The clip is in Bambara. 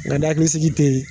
Nka ni hakilisigi tɛ yen